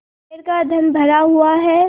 कुबेर का धन भरा हुआ है